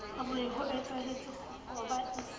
re hoetsahetse kgoba e se